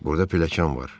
Burada pilləkan var.